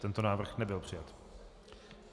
Tento návrh nebyl přijat.